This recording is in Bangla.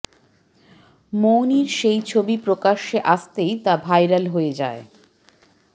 মৌনির সেই ছবি প্রকাশ্যে আসতেই তা ভাইরাল হয়ে যায়